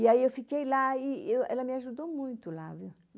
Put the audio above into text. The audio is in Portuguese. E aí eu fiquei lá e ela me ajudou muito lá, viu?